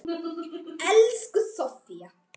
Elsku Sofía.